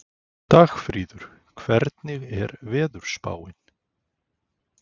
Dagfríður, hvernig er veðurspáin?